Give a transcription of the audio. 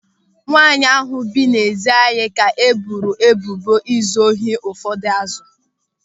Nwaanyị ahụ bi n'ezi anyị ka e boro ebubo izu ohi ụfọdụ azụ